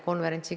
Suur tänu!